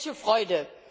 Welche Freude!